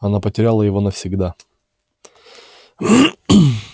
она потеряла его навсегда